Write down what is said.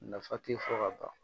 Nafa te fɔ ka ban